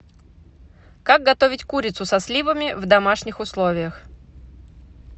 как готовить курицу со сливами в домашних условиях